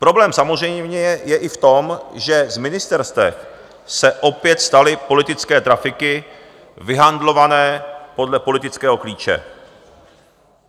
Problém samozřejmě je i v tom, že z ministerstev se opět staly politické trafiky vyhandlované podle politického klíče.